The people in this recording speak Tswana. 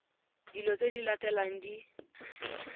dilo tse di latelang di